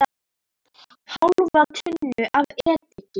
Hálfa tunnu af ediki.